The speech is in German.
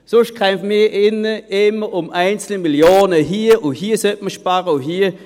Sonst kämpfen wir hier drin immer um einzelne Millionen hier und da, die man einsparen solle.